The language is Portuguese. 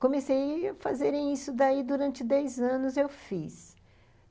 Comecei a fazer isso daí durante dez anos, eu fiz.